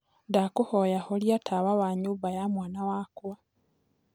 ndakũhoya horĩa tawa wa nyũmba ya mwana wakwa